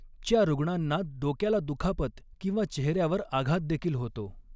च्या रूग्णांना डोक्याला दुखापत किंवा चेहऱ्यावर आघात देखील होतो.